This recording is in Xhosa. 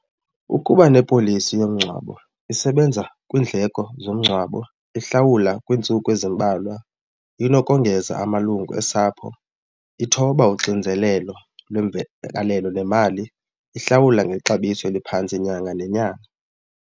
Ukuba ne-policy yomngcwabo isebenza kwiindleko zomngcwabo, ihlawula kwiintsuku ezimbalwa, inokongeza amalungu osapho, ithoba uxinzelelo lwemvakalo nemali, ihlawula ngexabiso eliphantsi nyanga nenyanga.